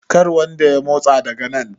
kar wanda ya motsa daga nan?